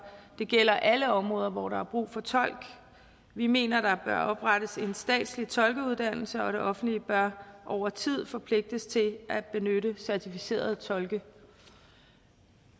det gælder alle områder hvor der er brug for tolk vi mener at der bør oprettes en statslig tolkeuddannelse og at det offentlige over tid bør forpligtes til at benytte certificerede tolke